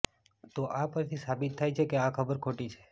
તો આ પરથી સાબિત થાય છે કે આ ખબર ખોટી છે